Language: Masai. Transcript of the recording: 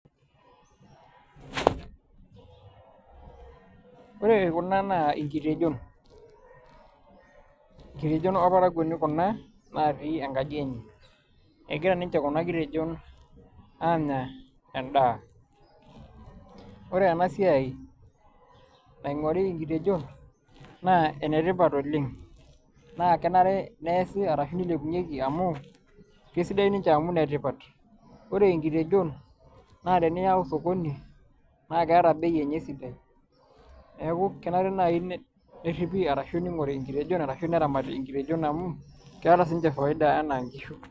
Oore kuna naa inkitejon. Inkitejon orparakuoni kuna natii enkaji eenye. Egira ninche kuuna kitejon aanya en'daa. Oore eena siai naing'ori inkitejon naa enetipat oleng', naa kenare niasi arashu neilepunyieki amuu kesidan ninche amuu inetipat. oore inkitejon naa teniyau osokoni, naa keeta bei eenye sidai. Niaku kenare nai neripi arashu neing'ori inkitejon arashu neramati inkitejon amuu keeta sininche faida enaa inkishu.